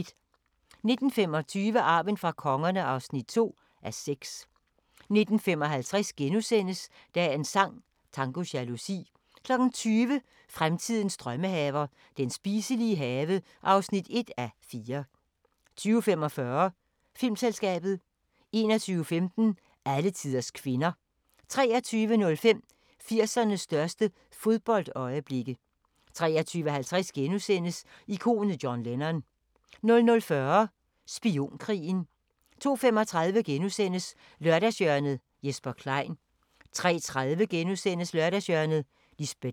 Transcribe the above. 19:25: Arven fra kongerne (2:6) 19:55: Dagens sang: Tango jalousi * 20:00: Fremtidens drømmehaver – den spiselige have (1:4) 20:45: Filmselskabet 21:15: Alletiders kvinder 23:05: 80'ernes største fodboldøjeblikke 23:50: Ikonet John Lennon * 00:40: Spionkrigen 02:35: Lørdagshjørnet - Jesper Klein * 03:30: Lørdagshjørnet - Lisbet Dahl *